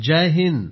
Jai Hind